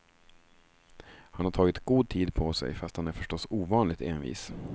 Han har tagit god tid på sig, fast han är förstås ovanligt envis.